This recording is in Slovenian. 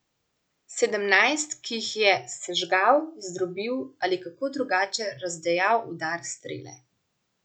Sedemnajst, ki jih je sežgal, zdrobil ali kako drugače razdejal udar strele.